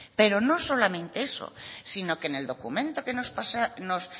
pero no solamente eso sino que en el documento que nos